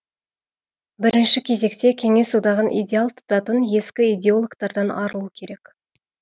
бірінші кезекте кеңес одағын идеал тұтатын ескі идеологтардан арылу керек